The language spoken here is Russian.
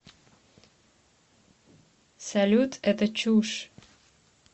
салют это чушь